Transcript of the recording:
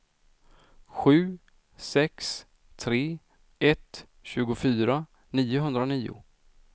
sju sex tre ett tjugofyra niohundranio